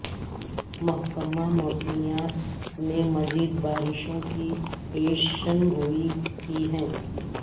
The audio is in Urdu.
محکمہ موسمیات نے مزید بارشوں کی پیشنگوئی کی ہے